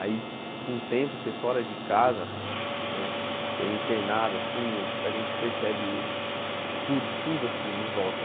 Aí, com o tempo, você fora de casa né, eu internado assim, a gente percebe tudo tudo assim em volta.